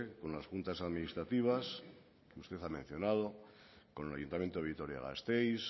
con las juntas administrativas que usted ha mencionado con el ayuntamiento de vitoria gasteiz